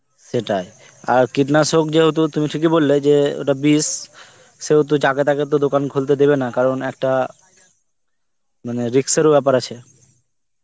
সেটাই আর কীটনাশক যেহেতু তুমি বললে যে ওটা বিষ, সেহেতু যাকে তাকে তো দোকান খুলতে দেবেনা কারণ একটা মানে risk এর ও বেপার আছে